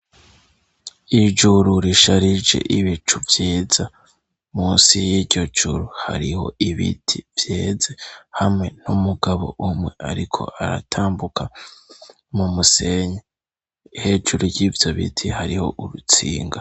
Ijuru risharije ibicu vyiza, munsi y'iryo juru hariho ibiti vyeze, hamwe n'umugabo umwe ariko aratambuka, mu musenyi hejuru y'ivyo biti, hariho urutsinga.